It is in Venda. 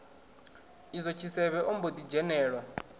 izwo tshisevhe ombo ḓi dzhenelwa